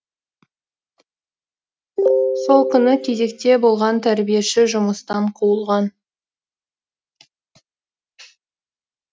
сол күні кезекте болған тәрбиеші жұмыстан қуылған